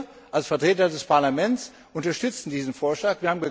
Wir, als Vertreter des Parlaments, unterstützen diesen Vorschlag.